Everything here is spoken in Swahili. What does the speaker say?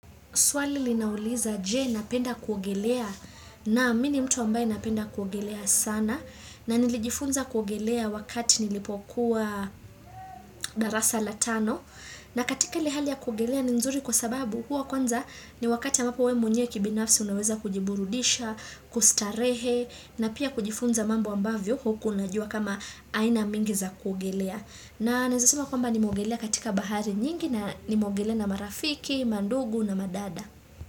Swali linauliza je napenda kuogelea naam mimi ni mtu ambaye napenda kuogelea sana na nilijifunza kuogelea wakati nilipokuwa darasa la tano na katika ile hali ya kuogelea ni nzuri kwa sababu huwa kwanza ni wakati we mwenyewe kibinafsi unaweza kujiburudisha, kustarehe na pia kujifunza mambo ambavyo hukua unajua kama aina mingi za kuogelea. Na naeza sema kwamba nimeogelea katika bahari nyingi na nimeogelea na marafiki, mandugu na madada.